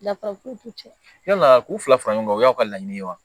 Dafara k'u cɛ yala k'u fila fara ɲɔgɔn kan o y'aw ka laɲini ye wa